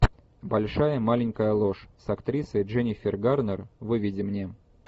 большая маленькая ложь с актрисой дженнифер гарнер выведи мне